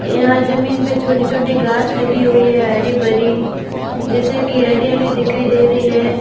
यहां जमीन पे छोटी छोटी घास लगी हुई है हरी भरी जैसे की हरियाली दिखाई दे रही है।